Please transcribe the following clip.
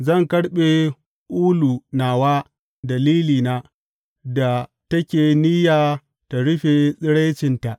Zan karɓe ulu nawa da lilina, da take niyya ta rufe tsiraicinta.